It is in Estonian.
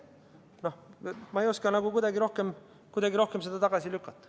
Noh, ma ei oska nagu kuidagi paremini, kuidagi rohkem seda tagasi lükata.